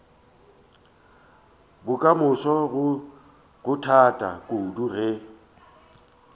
bokamoso go thata kudu ge